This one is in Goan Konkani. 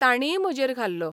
तांणीय म्हजेर घाल्लो.